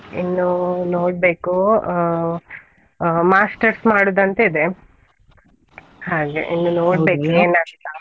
ಇನ್ನೂ ನೋಡ್ಬೇಕು, ಅಹ್ ಅಹ್ masters ಮಾಡುದಂತ ಇದೆ, ಹಾಗೆ ಇನ್ನು ನೋಡ್ಬೇಕು ಏನ್ ಅಂತ.